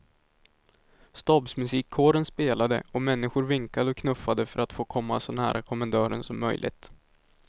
Stabsmusikkåren spelade och människor vinkade och knuffades för att få komma så nära kommendören som möjligt.